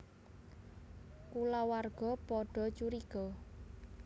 Kulawarga padha curiga